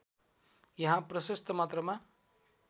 यहाँ प्रशस्त मात्रामा